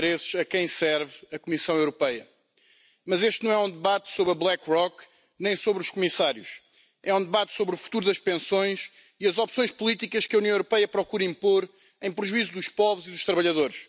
Frau Präsidentin, Damen und Herren Abgeordnete, Damen und Herren! Eine stabile, vertrauenswürdige Sicherung des Alters ist in einer sozialen Gesellschaft eine zentrale Aufgabe.